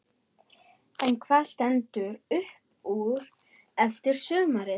En hvað stendur upp úr eftir sumarið?